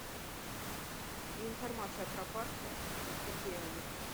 информация про парки какие они